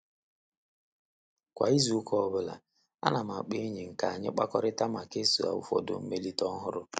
Kwa izu ụka ọ bụla, ana m akpọ enyi m ka anyị kpakọrita ma kesaa ụfọdụ mmelite ọhụrụ.